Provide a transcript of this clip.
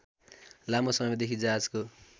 लामो समयदेखि जहाजको